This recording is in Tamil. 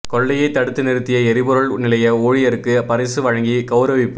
கொள்ளையை தடுத்து நிறுத்திய எரிபொருள் நிலைய ஊழியருக்கு பரிசு வழங்கி கௌரவிப்பு